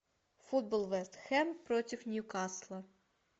футбол вест хэм против ньюкасла